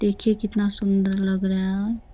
देखिए कितना सुन्दर लग रहा है।